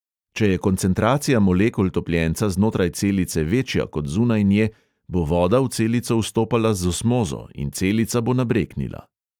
Če je koncentracija molekul topljenca znotraj celice večja kot zunaj nje, bo voda v celico vstopala z osmozo in celica bo nabreknila.